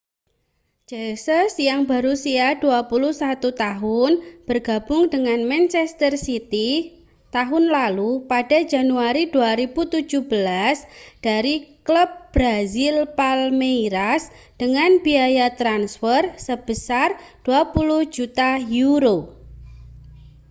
jesus yang berusia 21 tahun bergabung dengan manchester city tahun lalu pada januari 2017 dari klub brazil palmeiras dengan biaya transfer sebesar â£ 27 juta